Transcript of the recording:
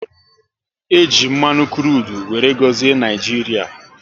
E ji mmanụ krudu wéré gọzie Naijiria